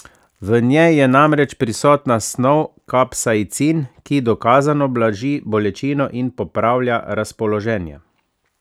V njej je namreč prisotna snov kapsaicin, ki dokazano blaži bolečino in popravlja razpoloženje.